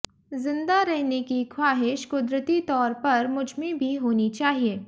जिंदा रहने की ख्वाहिश कुदरती तौर पर मुझमें भी होनी चाहिए